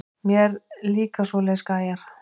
Mér líka svoleiðis gæjar.